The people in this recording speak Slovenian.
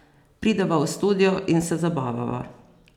Prideva v studio in se zabavava.